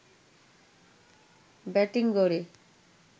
batting গড়ে